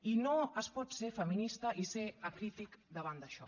i no es pot ser feminista i ser acrític davant d’això